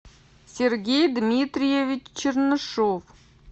сергей дмитриевич чернышов